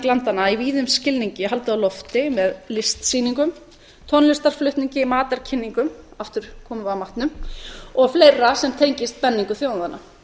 landanna í víðum skilningi haldið á lofti með listsýningum tónlistarflutningi matarkynningum aftur komum við að matnum og fleira sem tengist menningu þjóðanna